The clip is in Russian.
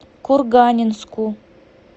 курганинску